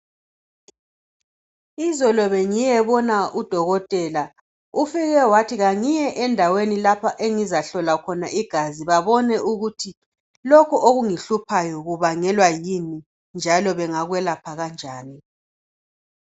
Izolo bengiyebona udokotela. Ufike wathi kangiye endaweni lapha engizahlolwa khona igazi babone ukuthi lolhu okungihluphayo kubangelwa yini njalo bengakwelapha kanjani.